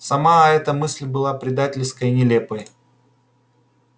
сама эта мысль была предательской и нелепой